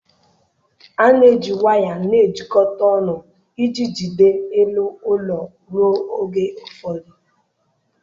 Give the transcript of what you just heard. A na-eji waya na-ejikọta ọnụ iji jide elu ụlọ ruo oge ụfọdụ